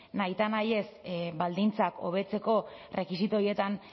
nahitaez baldintzak hobetzeko rekisito horietan